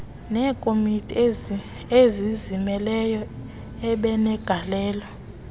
eekomiti ezizimeleyo abenegalelo